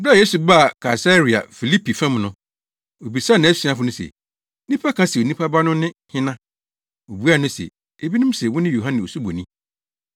Bere a Yesu baa Kaesarea Filipi fam no, obisaa nʼasuafo no se “Nnipa ka se Onipa Ba no ne hena?”